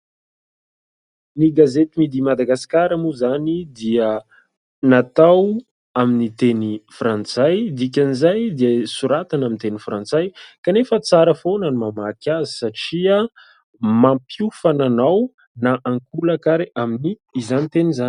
Ny gazety "Midi madagasikara" moa izany dia natao amin'ny teny frantsay dikan'izay dia soratana amin'ny teny frantsay kanefa tsara foana ny mamaky azy satria mampiofana anao na ankolaka ary aminy izany teny izany.